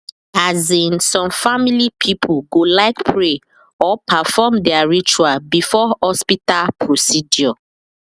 as in some family people go like pray or perfom their ritual before hospital procedure